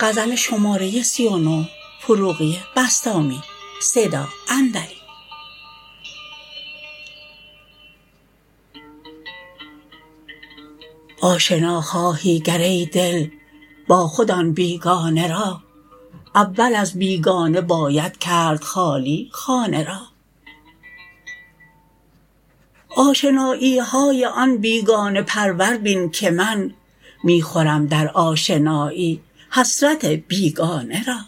آشنا خواهی گر ای دل با خود آن بیگانه را اول از بیگانه باید کرد خالی خانه را آشنایی های آن بیگانه پرور بین که من می خورم در آشنایی حسرت بیگانه را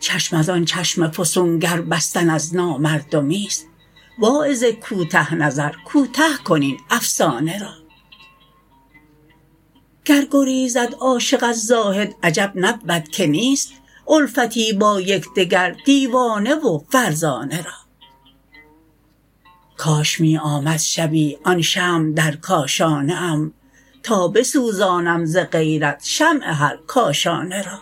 چشم از آن چشم فسونگر بستن از نامردمیست واعظ کوته نظر کوته کن این افسانه را گر گریزد عاشق از زاهد عجب نبود که نیست الفتی با یکدگر دیوانه و فرزانه را کاش می آمد شبی آن شمع در کاشانه ام تا بسوزانم ز غیرت شمع هر کاشانه را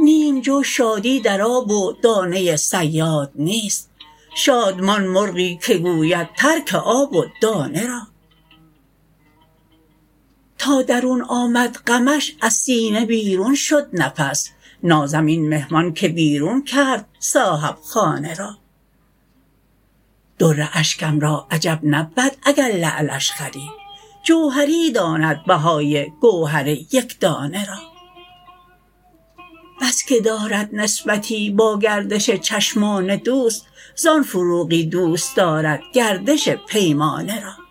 نیم جو شادی در آب و دانه صیاد نیست شادمان مرغی که گوید ترک آب و دانه را تا درون آمد غمش از سینه بیرون شد نفس نازم این مهمان که بیرون کرد صاحبخانه را در اشکم را عجب نبود اگر لعلش خرید جوهری داند بهای گوهر یکدانه را بس که دارد نسبتی با گردش چشمان دوست زان فروغی دوست دارد گردش پیمانه را